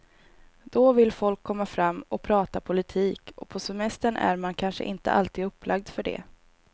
Då vill folk komma fram och prata politik och på semestern är man kanske inte alltid upplagd för det.